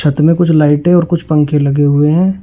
छत में कुछ लाइटें और कुछ पंखे लगे हुए हैं।